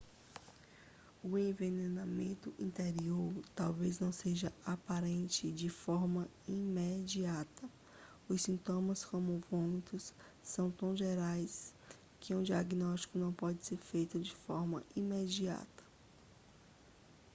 o envenenamento interior talvez não seja aparente de forma imediata os sintomas como vômitos são tão gerais que um diagnóstico não pode ser feito de forma imediata